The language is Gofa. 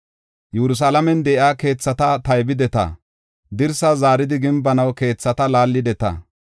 Yerusalaamen de7iya keethata taybideta; dirsaa zaaridi gimbanaw keethata laallideta.